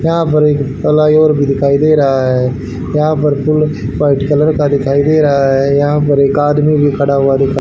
यहां पर एक फ्लाईओवर भी दिखाई दे रहा है यहां पर पुल व्हाइट कलर का दिखाई दे रहा है यहां पर एक आदमी भी खड़ा हुआ दिख --